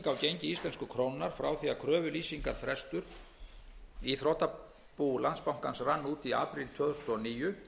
á gengi íslensku krónunnar frá því að kröfulýsingarfrestur í þrotabú landsbankans rann út í apríl tvö þúsund og níu